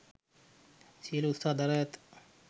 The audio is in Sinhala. සියලු උත්සාහ දරා ඇත